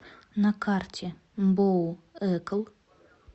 на карте мбоу экл